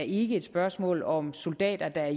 ikke et spørgsmål om soldater der